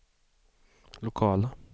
lokala